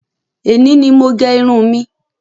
Èní ni mo gẹ irun mi.